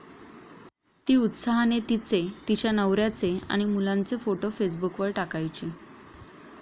ती उत्साहाने तिचे, तिच्या नवर्याचे आणि मुलांचे फोटो फेसबुकवर टाकायची.